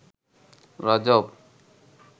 রজব